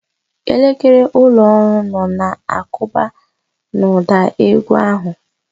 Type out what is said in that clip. Elekere ụlọ ọrụ nọ na-akụba n'ụda égwú ahụ.